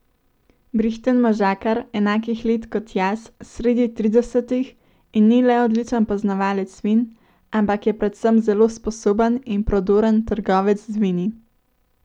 Brihten možakar, enakih let kot jaz, sredi tridesetih, in ni le odličen poznavalec vin, ampak je predvsem zelo sposoben in prodoren trgovec z vini.